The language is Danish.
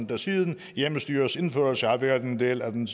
der siden hjemmestyrets indførelse har været en del af den